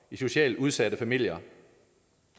i socialt udsatte familier